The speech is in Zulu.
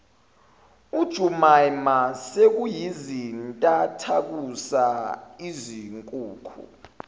ujumaima sekuyizintathakusa izinkukhu